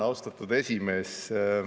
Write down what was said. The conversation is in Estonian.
Austatud esimees!